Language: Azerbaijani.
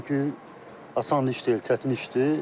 Çünki asan iş deyil, çətin işdir.